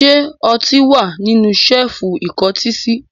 Ṣé ọtí wà nínú ṣẹ́ẹ́fù ìkọ́tí sí?